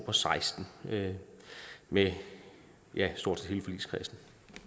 og seksten med med stort set hele forligskredsen